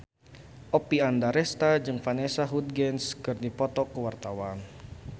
Oppie Andaresta jeung Vanessa Hudgens keur dipoto ku wartawan